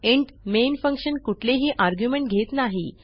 int main function कुठेलही argument घेत नाही